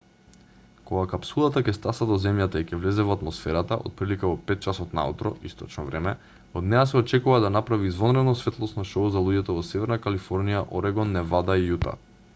кога капсулата ќе стаса до земјата и ќе влезе во атмосферата отприлика во 5 часот наутро источно време од неа се очекува да направи извонредно светлосно шоу за луѓето во северна калифорнија орегон невада и јута